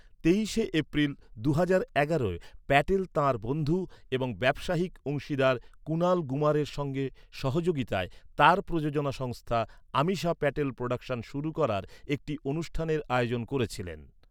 তেইশে এপ্রিল দুহাজার এগারোয়, প্যাটেল তাঁর বন্ধু এবং ব্যবসায়িক অংশীদার কুণাল গুমারের সঙ্গে সহযোগিতায় তাঁর প্রযোজনা সংস্থা, আমিশা প্যাটেল প্রোডাকশন শুরু করার একটি অনুষ্ঠানের আয়োজন করেছিলেন।